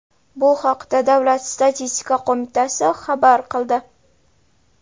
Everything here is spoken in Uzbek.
Bu haqda Davlat statistika qo‘mitasi xabar qildi.